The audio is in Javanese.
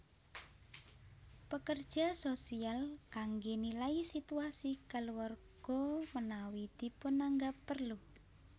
Pekerja sosial kangge nilai situasi keluarga menawi dipunanggap perlu